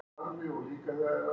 Það var nú einmitt ekki